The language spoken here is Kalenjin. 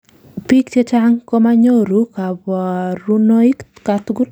biik chechang komanyoru kaborunoik katugul